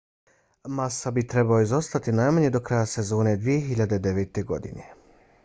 massa bi trebao izostati najmanje do kraja sezone 2009. godine